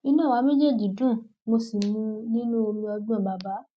inú àwa méjèèjì dùn mo sì mu nínú omi ọgbọn bàbà